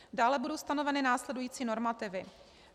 Dále budou stanoveny následující normativy.